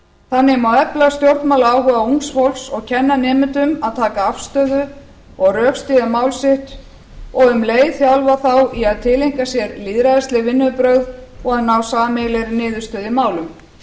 þannig má efla stjórnmálaáhuga ungs fólks og kenna nemendum að taka afstöðu og rökstyðja mál sitt og um leið þjálfa þá í að tileinka sér lýðræðisleg vinnubrögð og að ná sameiginlegri niðurstöðu í málum